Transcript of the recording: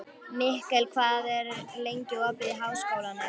Mikkel, hvað er lengi opið í Háskólanum á Hólum?